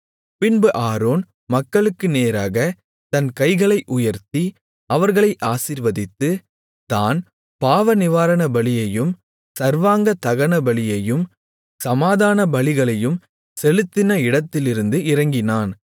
பின்பு ஆரோன் மக்களுக்கு நேராகத் தன் கைகளை உயர்த்தி அவர்களை ஆசீர்வதித்து தான் பாவநிவாரணபலியையும் சர்வாங்கதகனபலியையும் சமாதானபலிகளையும் செலுத்தின இடத்திலிருந்து இறங்கினான்